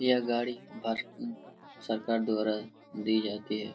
यह गाड़ी भारती सरकार द्वारा दी जाती हे|